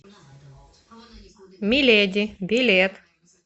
миледи билет